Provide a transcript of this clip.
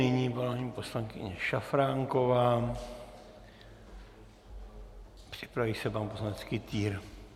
Nyní paní poslankyně Šafránková, připraví se pan poslanec Kytýr.